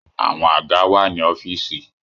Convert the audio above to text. Àwọn àga wà ní ọ́fìsì.